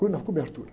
Co, na cobertura.